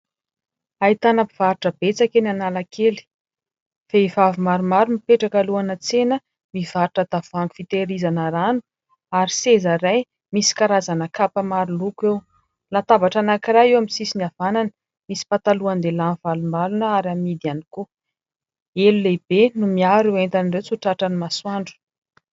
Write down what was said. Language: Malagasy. Ahitana mpivarotra betsaka eny Analakely. Vehivavy maromaro mipetraka alohana tsena, mivarotra tavoahangy fiterizana rano, ary seza iray misy karazana kapa maro loko eo; latabatra anankiray eo amin'ny sisiny havanana misy patalohan-dehilahy mivalombalona ary amidy ihany koa. Elo lehibe no miaro ireo entana ireo tsy ho tratry ny masoandro.